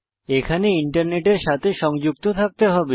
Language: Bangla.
এখানে ইন্টারনেটের সাথে সংযুক্ত থাকতে হবে